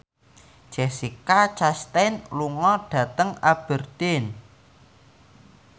Jessica Chastain lunga dhateng Aberdeen